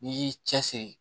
N'i y'i cɛsiri